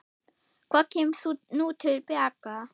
Hvað kemur nú til baka?